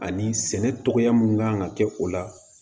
Ani sɛnɛ cogoya mun kan ka kɛ o la